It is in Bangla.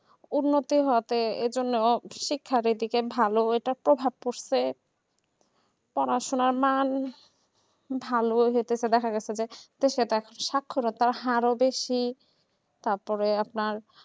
উন্নতি মতে এইজন্য শিক্ষা দিক থেকে একটা ভালো প্রভাব পড়ছে পড়াশোনা মাল ভালোই হচ্ছে দেখা যাচ্ছে যে সাক্ষরতার হারে বেশি তারপরে আপনার